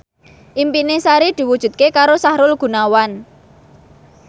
impine Sari diwujudke karo Sahrul Gunawan